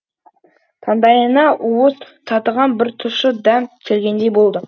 таңдайына уыз татыған бір тұщы дәм келгендей болды